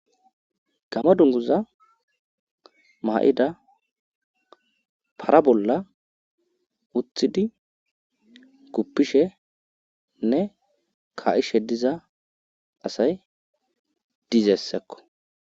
gama dunguza ma7ida para bolla uthidi kuppishenne ka7ishe diza asay dizessakko